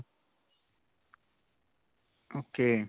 ok.